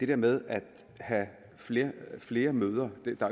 der med at have flere flere møder at der